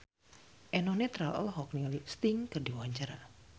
Eno Netral olohok ningali Sting keur diwawancara